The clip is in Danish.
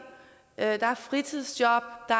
at der er fritidsjob at